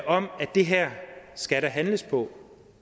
om at det her skal der handles på